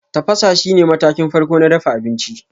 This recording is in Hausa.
Tafasa shine matakin farko na dafa abinci.